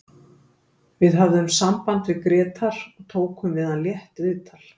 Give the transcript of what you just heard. Við höfðum samband við Grétar og tókum við hann létt viðtal.